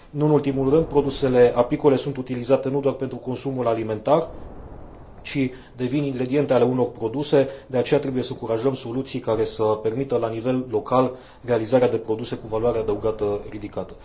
Nu în ultimul rând, produsele apicole sunt utilizate nu doar pentru consumul alimentar, ci devin ingrediente ale unor produse, de aceea trebuie să încurajăm soluții care să permită la nivel local realizarea de produse cu valoare adăugată ridicată.